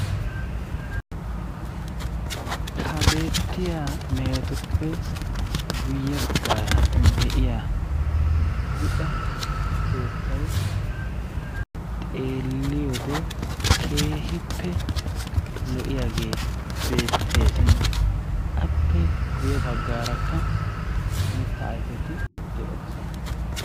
Ha beettiya mehetuppe guyye baggaara de'iya buuxa keettay xeelliyode keehippe lo'iyagee beetteesi. Appe guyye baggaarakka mittaa ayfeti de'oosona.